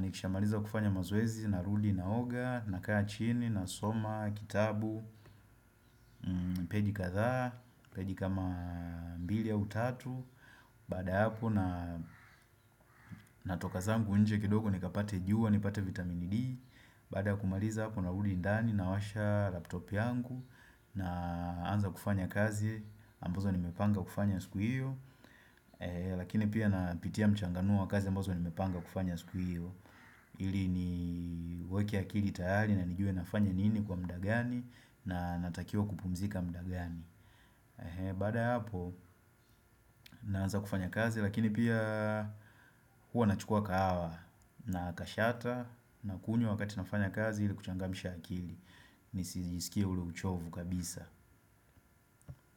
Nikisha mariza kufanya mazoezi narudi naoga, nakaa chini, nasoma, kitabu, peji kadhaa, peji kama mbili au tatu Baada ya hapo natoka zangu nje kidogo nikapate juwa, nipate vitamini D Baada ya kumaliza hapo narudi ndani nawasha laptop yangu naanza kufanya kazi ambazo nimepanga kufanya siku hiyo Lakini pia napitia mchangano wa kazi ambozo nimepanga kufanya siku hiyo ili ni weke akiri tayari na nijue nafanya nini kwa mda gani na natakiwa kupumzika mda gani Baada ya hapo naanza kufanya kazi lakini pia huwa nachukua kahawa na kashata Nakunywa wakati nafanya kazi ili kuchangamisha akili Nisijisikie ule uchovu kabisa.